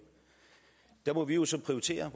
der må vi jo så prioritere